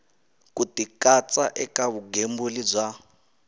ku tikatsa eka vugembuli bya